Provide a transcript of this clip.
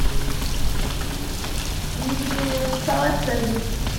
и салат цезарь